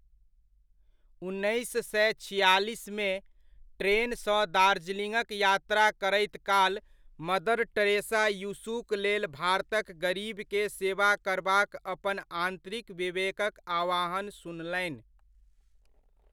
उन्नैस सए छिआलिसमे, ट्रेनसँ दार्जिलिङ्गक यात्रा करैत काल मदर टेरेसा यीशुक लेल भारतक गरीबके सेवा करबाक अपन आन्तरिक विवेकक आह्वान सुनलनि।